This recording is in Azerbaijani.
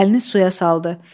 Əlini suya saldı.